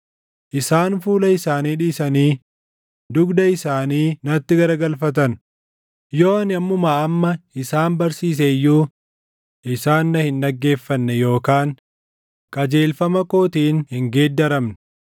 Isaan fuula isaanii dhiisanii dugda isaanii natti garagalfatan; yoo ani ammumaa amma isaan barsiise iyyuu isaan na hin dhaggeeffanne yookaan qajeelfama kootiin hin geeddaramne.